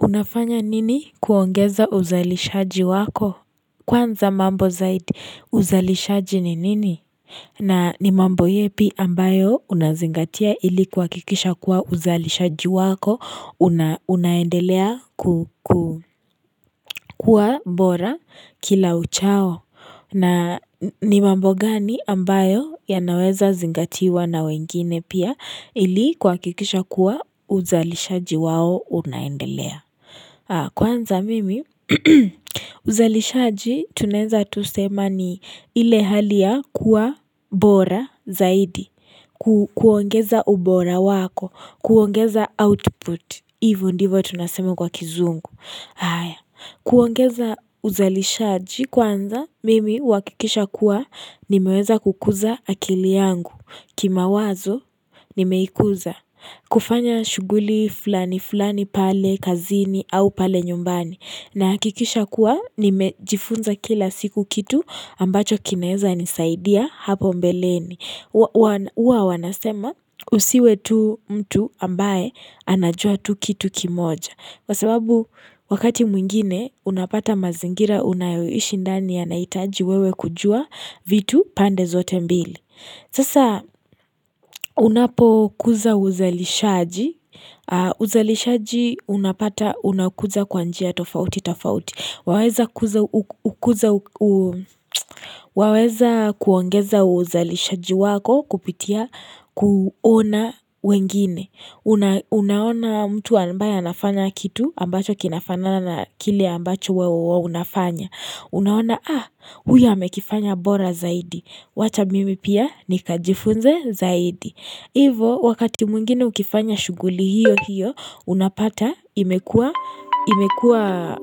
Unafanya nini kuongeza uzalishaji wako? Kwanza mambo zaidi uzalishaji ni nini? Na ni mambo yepi ambayo unazingatia ili kuhakikisha kuwa uzalishaji wako unaendelea kukua bora kila uchao. Na ni mambo gani ambayo yanaweza zingatiwa na wengine pia ili kuhakikisha kuwa uzalishaji wao unaendelea. Kwanza mimi uzalishaji tunaeza tu sema ni ile hali ya kuwa bora zaidi. Kuuongeza ubora wako, kuuongeza output, hivo ndivo tunaseme kwa kizungu. Kuuongeza uzalishaji kwanza mimi huakikisha kuwa nimeweza kukuza akili yangu. Kimawazo nimeikuza. Kufanya shughuli fulani fulani pale kazini au pale nyumbani Nahakikisha kuwa nimejifunza kila siku kitu ambacho kinaezanisaidia hapo mbeleni hUwa wanasema usiwe tu mtu ambaye anajua tu kitu kimoja Kwa sababu wakati mwingine unapata mazingira unayoiishi ndani yanahitaji wewe kujua vitu pande zote mbili Sasa unapokuza uzalishaji, uzalishaji unapata unakuza kwa njia tofauti tofauti, waweza kuongeza uzalishaji wako kupitia kuona wengine, unaona mtu ambaye anafanya kitu ambacho kinafana na kile ambacho wewe unafanya, unaona ah huyu amekifanya bora zaidi, wacha mimi pia nikajifunze zaidi. Hivo, wakati mwingine ukifanya shughuli hiyo hiyo unapata imekua imekua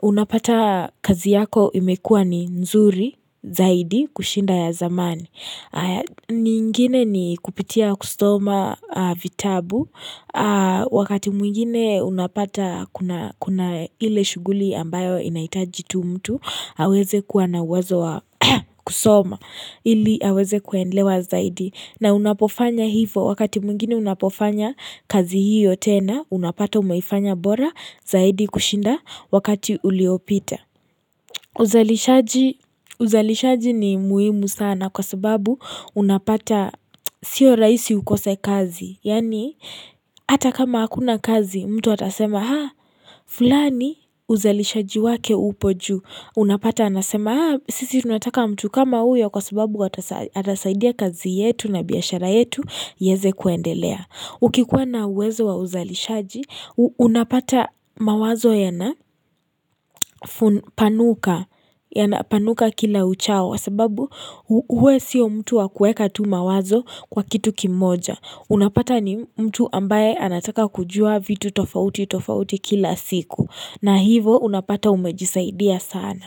unapata kazi yako imekua ni nzuri zaidi kushinda ya zamani. Nyingine ni kupitia kusoma vitabu wakati mwingine unapata kuna ile shughuli ambayo inaitaji tu mtu, aweze kuwa na uwezo kusoma ili aweze kuelewa zaidi na unapofanya hivo wakati mwingine unapofanya kazi hiyo tena unapata umeifanya bora zaidi kushinda wakati uliopita. Uzalishaji ni muhimu sana kwa sababu unapata sio rahisi ukose kazi. Yaani hata kama hakuna kazi mtu atasema haa fulani uzalishaji wake upo juu. Unapata anasema sisi tunataka mtu kama huyo kwa sababu atasaidia kazi yetu na biashara yetu iweze kuendelea. Ukikuwa na uwezo wa uzalishaji, unapata mawazo yanapanuka kila uchao sababu wewe sio mtu wa kueka tu mawazo kwa kitu kimoja. Unapata ni mtu ambaye anataka kujua vitu tofauti tofauti kila siku. Na hivo unapata umejisaidia sana.